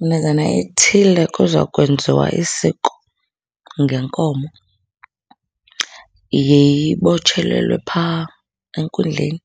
Minazana ithile kuza kwenziwa isiko ngenkomo. Yeyibotshelelwe phaa enkundleni,